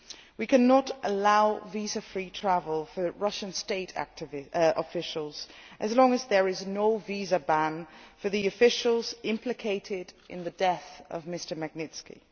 We cannot allow visa free travel for Russian state officials as long as there is no visa ban for the officials implicated in the death of Mr Magnitsky.